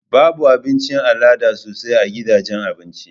Babu Abinci al'ada sosai a gidajen Abinci